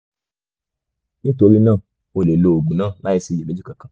nítorí náà o lè lo oògùn náà láìsí iyèméjì kankan